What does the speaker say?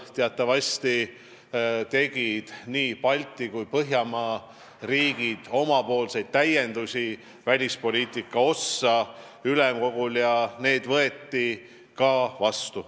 Teatavasti tegid nii Balti kui ka Põhjala riigid ülemkogul täiendusi välispoliitika ossa ja need võeti ka vastu.